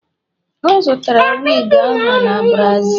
o zụtara wigi ahụ n' Brazil